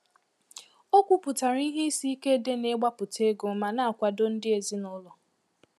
O kwuputara ihe isi ike dị n'ịgbapụta ego ma na-akwado ndị ezi na ụlọ.